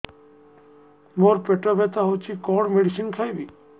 ମୋର ପେଟ ବ୍ୟଥା ହଉଚି କଣ ମେଡିସିନ ଖାଇବି